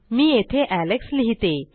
मी येथे एलेक्स लिहिते